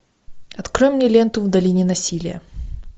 открой мне ленту в долине насилия